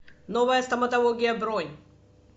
новая стоматология бронь